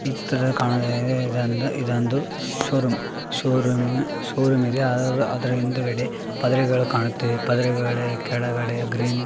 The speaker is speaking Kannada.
ಈ ಚಿತ್ರದಲ್ಲಿ ಕಾಣುವುದು ಏನೆಂದರೆ ಇದೊಂದು ಇದೊಂದು ಶೋರೂಂ . ಶೋರೂಮ್ನ ಶೋರೂಮ್‌ ಇದೆ. ಅದರ ಹಿಂದುಗಡೆ ಪದರೆಗಳು ಕಾಣುತ್ತಿವೆ. ಪದರೆಗಳು ಕೆಳಗಡೆ ಗ್ರೀನ್‌ --